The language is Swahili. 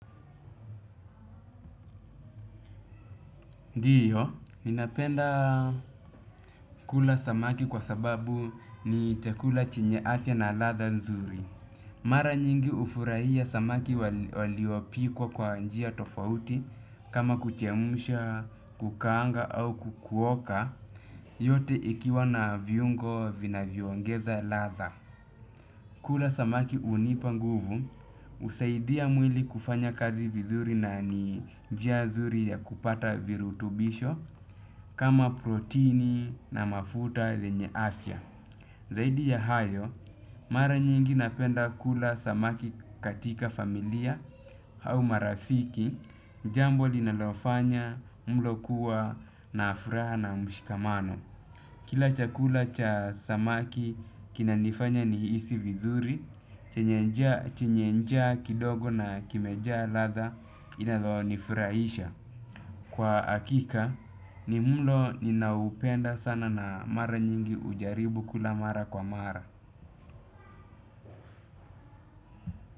Ndiyo, ninapenda kula samaki kwa sababu ni chakula chenye afya na ladha nzuri. Mara nyingi hufurahia samaki waliopikwa kwa njia tofauti kama kuchemsha, kukaanga au kukuoka yote ikiwa na viungo vinavyongeza ladha. Kula samaki hunipa nguvu husaidia mwili kufanya kazi vizuri na ni njia nzuri ya kupata virutubisho kama protini na mafuta lenye afya. Zaidi ya hayo mara nyingi napenda kula samaki katika familia au marafiki jambo linalofanya mlo kuwa na furaha na mshikamano. Kila chakula cha samaki kina nifanya nihisi vizuri, chenye njaa kidogo na kimejaa ladha inalo ni furahisha. Kwa hakika ni mlo ninaupenda sana na mara nyingi hujaribu kula mara kwa mara.